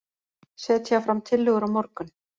Setja fram tillögur á morgun